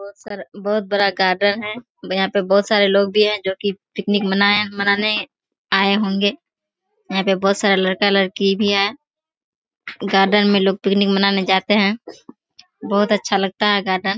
बहुत सारा बहुत बड़ा गार्डन है। यहाँ पे बहुत सारे लोग भी हैं जो की पिकनिक मनाए मनाने आए होंगे। यहाँ पे बहुत सारे लड़का-लड़की भी है गार्डन में लोग पिकनिक मनाने जाते हैं। बहुत अच्छा लगता है गार्डन ।